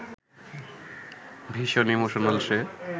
ভীষণ ইমোশনাল সে